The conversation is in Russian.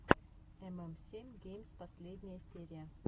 эм эм семь геймс последняя серия